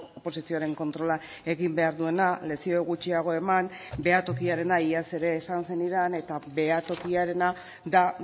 oposizioaren kontrola egin behar duena lezio gutxiago eman behatokiarena iaz ere esan zenidan eta behatokiarena da